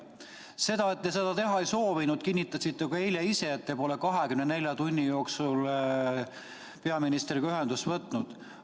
Seda, et te seda teha ei soovinud, kinnitasite te eile ise, et te pole 24 tunni jooksul peaministriga ühendust võtnud.